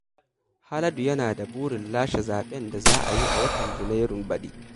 Haladu yana da burin lashe zaɓen da za a yi a watan Janairun baɗi